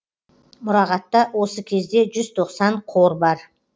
мұрағатта осы кезде жүз тоқсан қор бар